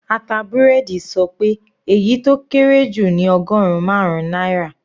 Ata búrẹ́dì sọ pé èyí tó kéré jù ní ọgọrùn marun náírà.